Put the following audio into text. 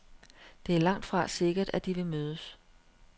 Det er langtfra sikkert, at de vil mødes.